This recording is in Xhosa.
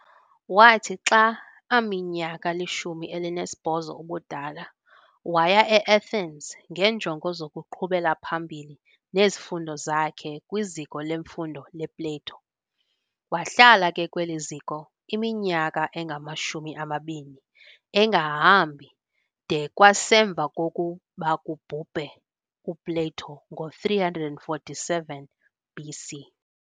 Wathi xa aminyaka ilishumi elinesibhozo ubudala, waya eAthens ngeenjongo zokuqhubela phambili nezifundo zakhe kwiziko lemfundo lePlato. Wahlala ke kweli ziko iminyaka engamashumi amabini, engahambi de kwasemva kokuba kubhubhe uPlato ngo347 BC.